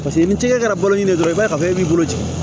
Paseke ni tigɛ kɛra bolo ɲini na dɔrɔn i b'a ye ka fɔ e b'i bolo ci